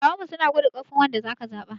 Dattawanmu suna gwada ƙarfin wanda aka zaba.